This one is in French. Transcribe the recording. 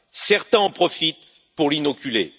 Certains en profitent pour l'inoculer.